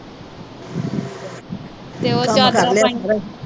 ਤੇ